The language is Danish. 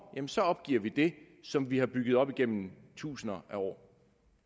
så opgiver vi det som vi har bygget op gennem tusinder af år